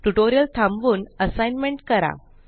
tutorial थांबवून assignment करा